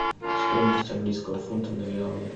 стоимость английского фунта на реалы